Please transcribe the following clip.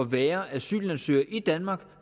være asylansøger i danmark